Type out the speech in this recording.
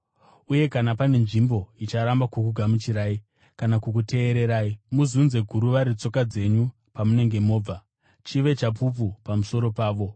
Uye kana pane nzvimbo icharamba kukugamuchirai kana kukuteererai, muzunze guruva retsoka dzenyu pamunenge mobva, chive chapupu pamusoro pavo.”